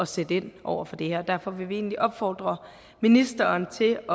sætte ind over for det her derfor vil vi egentlig opfordre ministeren til